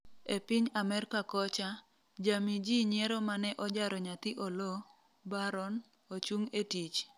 e piny Amerka kocha, jamii jii nyiero mane ojaro nyathi Oloo, Barron, ochung' etich